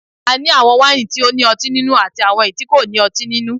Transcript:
A ní àwọn wáìnì tí ó ní ọtín nínú àti àwọn èyí tí kò ní ọtín nínú